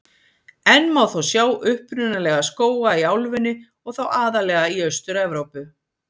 Enn má þó sjá upprunalega skóga í álfunni og þá aðallega í Austur-Evrópu.